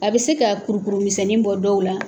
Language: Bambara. A bɛ se ka kurukuru misɛnni bɔ dɔw la.